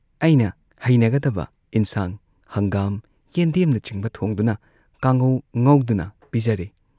ꯑꯩꯅ ꯍꯩꯅꯒꯗꯕ ꯏꯟꯁꯥꯡ ꯍꯪꯒꯥꯝ, ꯌꯦꯟꯗꯦꯝꯅꯆꯤꯡꯕ ꯊꯣꯡꯗꯨꯅ ꯀꯥꯡꯉꯧ ꯉꯧꯗꯨꯅ ꯄꯤꯖꯔꯦ ꯫